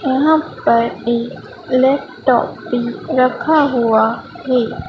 यहां पर एक लैपटॉप भी रखा हुआ है।